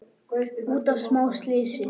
út af smá slysi!